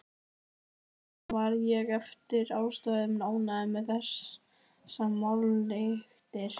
Þess vegna var ég eftir ástæðum ánægður með þessar málalyktir.